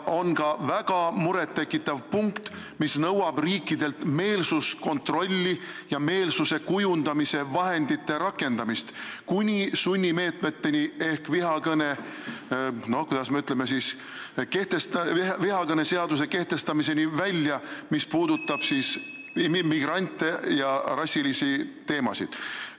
On ka väga muret tekitav punkt, mis nõuab riikidelt meelsuskontrolli ja meelsuse kujundamise vahendite rakendamist, kuni sunnimeetmeteni ehk, kuidas me ütleme, vihakõne seaduse kehtestamiseni välja, mis puudutab migrante ja rassiga seotud teemasid.